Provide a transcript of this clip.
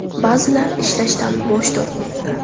Ba’zilar ishlashdan bosh tortmoqda.